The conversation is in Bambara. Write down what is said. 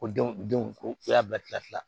Ko denw denw ko u y'a bila fila la